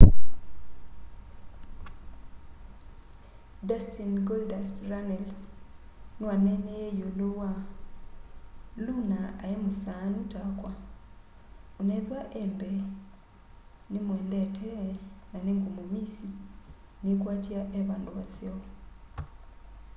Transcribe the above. dustin golddust” runnels niwaneeneie yiulu wa luna ai musaanu takwaonethwa e mbeenimwendete na ningumumisiniikwatya e vandu vaseo.